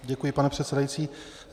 Děkuji, pane předsedající.